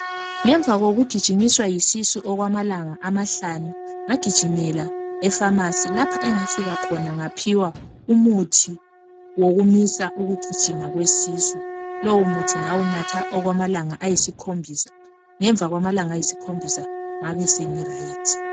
Ngemva kokugijimiswa yisisu okwamalanga amahlanu ngagijimela ekhemisi lapha engafika ngaphiwa umuthi wokumisa ukugijima kwesisu. Lowumuthi ngawunatha akwamalanga ayisikhombisa ngemva kwamalanga ayisikhombisa ngabesengisilile.